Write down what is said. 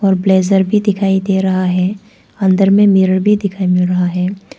और ब्लेजर भी दिखाई दे रहा है अंदर में मिरर भी दिखाई मिल रहा है।